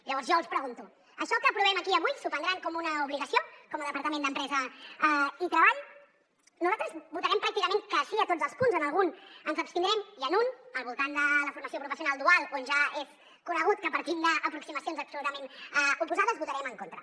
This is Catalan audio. llavors jo els pregunto això que aprovem aquí avui s’ho prendran com una obligació com a departament d’empresa i treball nosaltres votarem pràcticament que sí a tots els punts en algun ens abstindrem i en un al voltant de la formació professional dual on ja és conegut que partim d’aproximacions absolutament oposades votarem en contra